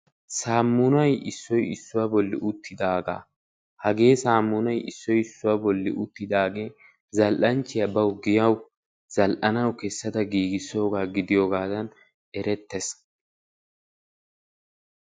Samunayissoy issuwaa bolli uttidagaa. hagee samunay issoy issuwaa bolli uttidagee zal"anchchiyaa bawu giyawu zal"anawu kessada giigissoogaa gidiyoogadan erettees.